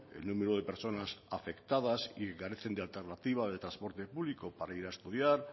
el número de personas afectadas y que carecen de alternativa de transporte público para ir a estudiar